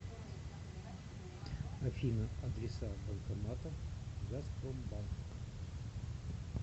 афина адреса банкоматов газпромбанк